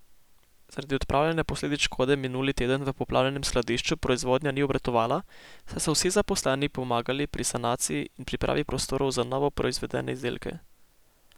Zaradi odpravljanja posledic škode minuli teden v poplavljenem skladišču proizvodnja ni obratovala, saj so vsi zaposleni pomagali pri sanaciji in pripravi prostorov za novo proizvedene izdelke.